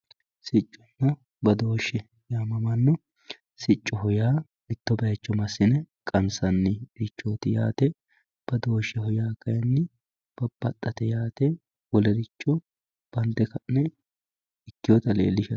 Sicconna baadoshe yaamamanno siccoho yaa mitto bayicho maasinne qanisanirichoti yaatte baadosheho yaa kayinni babaxatte yaate olericho baande kanne ikewotta leelishatte